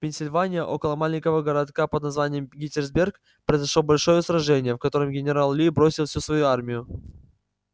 в пенсильвании около маленького городка под названием геттисберг произошло большое сражение в которое генерал ли бросил всю свою армию